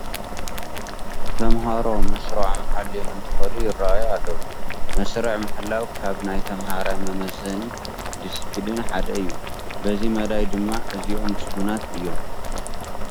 ተመሃሮ መስርዖም ሓልዮም እንትኸዱ ይርአዩ ኣለዉ፡፡ መስርዕ ምሕላው ካብ ናይ ተመሃራይ መመዘኒ ዲስፒሊን ሓደ እዩ፡፡ በዚ መዳይ ድማ እዚኦም ምስጉናት እዮም፡፡